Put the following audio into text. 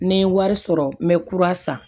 Ni n ye wari sɔrɔ n bɛ kura san